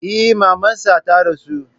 Eh, maman sa ta rasu.